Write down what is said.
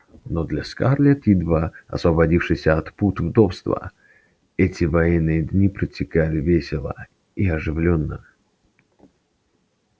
но для скарлетт едва освободившейся от пут вдовства эти военные дни протекали весело и оживлённо